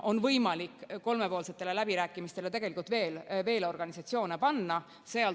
On võimalik kolmepoolsetele läbirääkimistele tegelikult veel organisatsioone panna.